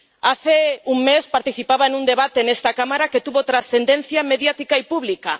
Hace un mes, participaba en un debate en esta Cámara que tuvo trascendencia mediática y pública.